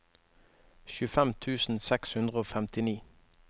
tjuefem tusen seks hundre og femtini